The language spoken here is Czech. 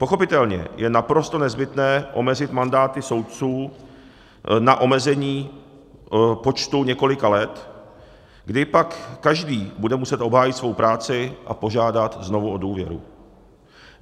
Pochopitelně je naprosto nezbytné omezit mandáty soudců na omezení počtu několika let, kdy pak každý bude muset obhájit svou práci a požádat znovu o důvěru.